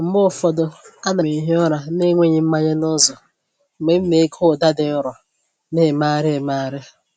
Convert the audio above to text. Mgbe ụfọdụ, ana m ehi ụra n'enweghi mmanye n’ụzọ mgbe m na-ege ụda dị nro, na-emegharị emegharị.